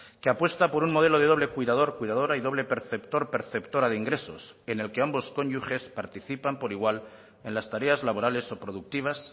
que apuesta por un modelo de doble cuidador cuidadora y doble perceptor perceptora de ingresos en el que ambos cónyuges participan por igual en las tareas laborales o productivas